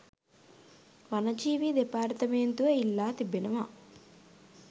වනජීවී දෙපාර්තමේන්තුව ඉල්ලා තිබෙනවා.